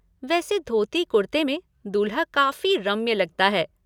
वैसे धोती कुर्ते में दूल्हा काफ़ी रम्य लगता है।